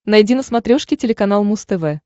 найди на смотрешке телеканал муз тв